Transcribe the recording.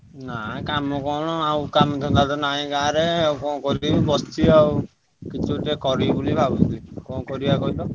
ନାଇଁ କାମ କଣ ଆଉ କାମ ଧନ୍ଦା ତ ନାହିଁ ଗାଁ ରେ ଆଉ କଣ କରିବି ବସିଛି ଆଉ କିଛି ଗୋଟେ କରିବି ବୋଲି ଭାବୁଛି କଣ କରିବା କହିଲ?